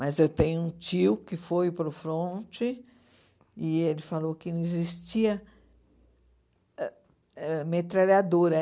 Mas eu tenho um tio que foi para a fronte e ele falou que não existia ãh metralhadora.